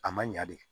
A ma ɲa de